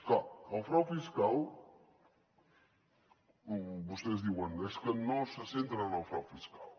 clar del frau fiscal vostès diuen és que no se centren en el frau fiscal